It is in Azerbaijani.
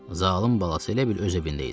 Zalım balası elə bil öz evində idi.